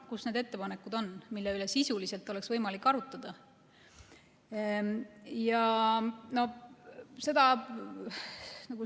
Kus need ettepanekud on, mille üle sisuliselt oleks võimalik arutada?